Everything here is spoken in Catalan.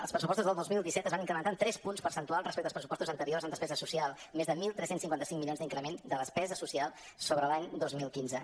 els pressupostos del dos mil disset es van incrementar en tres punts percentuals respecte als pressupostos anteriors en despesa social més de tretze cinquanta cinc milions d’increment de despesa social sobre l’any dos mil quinze